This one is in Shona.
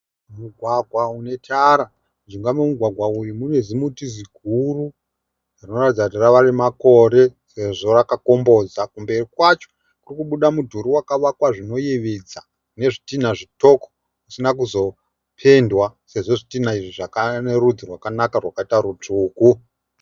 Mugwagwa une tara. Mujinga memugwagwa uyu mune zimuti ziguru rinoratidza kuti rave nemakore sezvo rakakomboza. Kumberi kwacho kuri kubuda mudhuri wakavakwa zvinoyevedza nezvitinha zvitoko zvisina kuzopendwa sezvo zvitinha izvi zvakava nerudzi rwakanaka rwakaita rutsvuku.